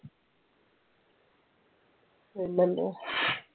പിന്നെന്തുവാ?